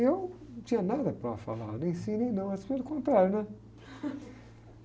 E eu não tinha nada para falar, nem sim, nem não, mas, pelo contrário.